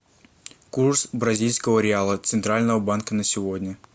курс бразильского реала центрального банка на сегодня